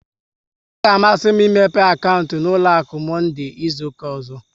Ọ ga amasị m imepe akaụntụ n'ụlọ akụ, Monde izuka ọzọ